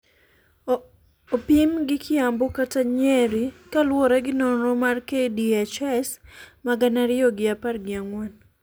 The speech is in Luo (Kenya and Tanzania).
opim gi Kiambu kata Nyeri kaluwore gi nonro mar KDHS ma gana ariyo gi apar gi ang'wen.